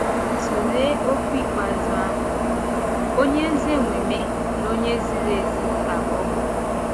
Tụlee okwu ikpeazụ ahụ: “Ọ̀nye ezi omume na onye ziri ezi ka Ọ bụ.”